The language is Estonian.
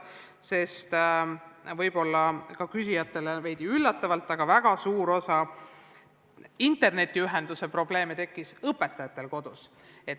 Küsitlejate jaoks oli veidi üllatav, et väga suur osa internetiühenduse probleeme tekkis õpetajatel kodus.